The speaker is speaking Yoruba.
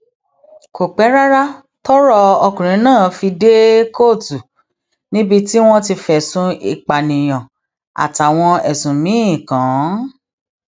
kò pẹ rárá tọrọ ọkùnrin náà fi dé kóòtù níbi tí wọn ti fẹsùn ìpànìyàn àtàwọn ẹsùn míín kàn án